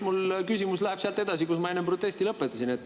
Mu küsimus läheb sealt edasi, kus ma enne protesti lõpetasin.